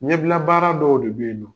ɲɛbila baara dɔw de beyi